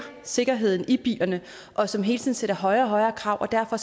sikkerheden i bilerne og som hele tiden stiller højere og højere krav og derfor